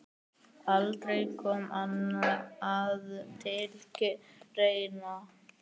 Aldrei kom annað til greina.